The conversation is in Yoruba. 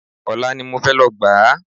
Ọ̀la ni mo fẹ́ lọ gbà á